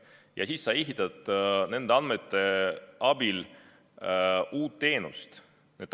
Ja siis sa ehitad nende andmete abil uue teenuse.